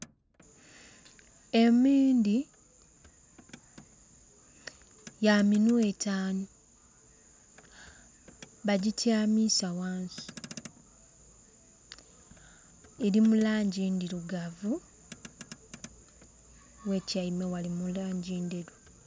Emiindi ya minhwa entanu bagityamisa ghansi eri mulangi ndhirugavu ghetyaime ghali mu langi ndheru .